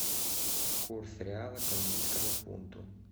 курс реала к английскому фунту